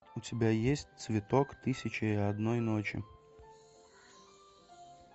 у тебя есть цветок тысяча и одной ночи